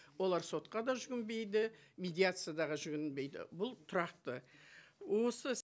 олар сотқа да жүгінбейді медиация жүгінбейді бұл тұрақты осы